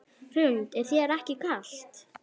Hrund: Er þér ekki kalt?